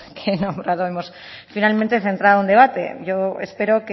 que he nombrado finalmente hemos centrado un debate yo espero